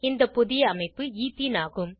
இந்த புதிய அமைப்பு ஈத்தீன் ஆகும்